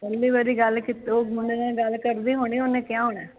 ਪਹਿਲੀ ਵਾਰੀ ਗੱਲ ਕੀਤੀ ਓਹ ਮੁੰਡੇ ਨਾਲ਼ ਕਰਦੀ ਹੁਣੀ ਓਹਨੇ ਕਿਹਾ ਹੋਣਾ ਐ